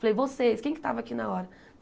Falei, vocês, quem que estava aqui na hora?